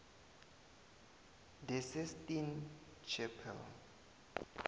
the sistine chapel